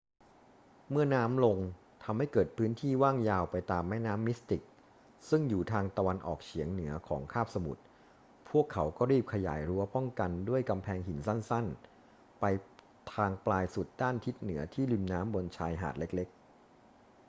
เมื่อน้ำลงทำให้เกิดพื้นที่ว่างยาวไปตามแม่น้ำมิสติกซึ่งอยู่ทางตะวันออกเฉียงเหนือของคาบสมุทร พวกเขาก็รีบขยายรั้วป้องกันด้วยกำแพงหินสั้น ๆ ไปทางปลายสุดด้านทิศเหนือที่ริมน้ำบนชายหาดเล็ก ๆ